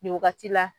Nin wagati la